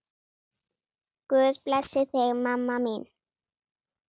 Guð blessi þig, mamma mín.